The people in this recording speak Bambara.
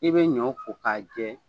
I be ɲɔ ko ka jɛ